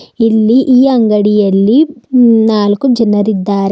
ಇಲ್ಲಿ ಈ ಅಂಗಡಿಯಲ್ಲಿ ನಾಲ್ಕು ಜನರಿದ್ದಾರೆ.